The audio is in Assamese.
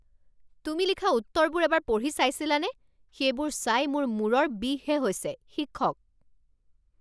তুমি লিখা উত্তৰবোৰ এবাৰ পঢ়ি চাইছিলানে? সেইবোৰ চাই মোৰ মূৰৰ বিষহে হৈছে শিক্ষক